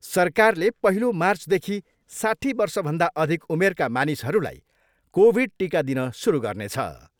सरकारले पहिलो मार्चदेखि साठी वर्षभन्दा अधिक उमेरका मानिसहरूलाई कोभिड टिका दिन सुरु गर्नेछ।